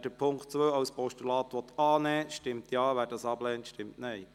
Wer den Punkt 2 als Postulat annehmen will, stimmt Ja, wer dies ablehnt, stimmt Nein.